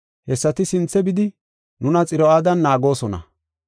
Hessati sinthe bidi nuna Xiro7aadan naagoosona.